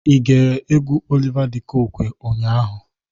I gere egwu Oliva dị Kokwe ụnyaahụ?